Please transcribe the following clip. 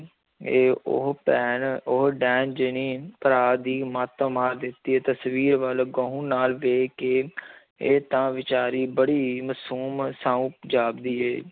ਇਹ ਉਹ ਭੈਣ ਉਹ ਡੈਣ ਜਿਹਨੇ ਭਰਾ ਦੀ ਮੱਤ ਮਾਰ ਦਿੱਤੀ ਹੈ, ਤਸ਼ਵੀਰ ਵੱਲ ਗਹੁੰ ਨਾਲ ਵੇਖ ਕੇ ਇਹ ਤਾਂ ਬੇਚਾਰੀ ਬੜੀ ਹੀ ਮਾਸੂਮ ਸਾਊ ਜਾਪਦੀ ਹੈ।